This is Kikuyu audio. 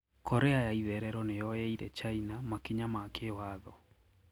Korea ya itherero niyoyeire China makinya ma kiwatho.